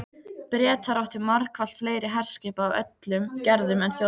Bretar áttu margfalt fleiri herskip af öllum gerðum en Þjóðverjar.